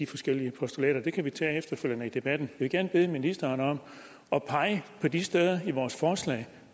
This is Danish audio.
forskellige postulater det kan vi tage efterfølgende i debatten vil gerne bede ministeren om at pege på de steder i vores forslag